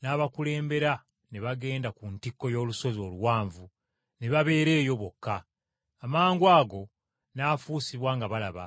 n’abakulembera ne bagenda ku ntikko y’olusozi oluwanvu ne babeera eyo bokka. Amangwago n’afuusibwa nga balaba,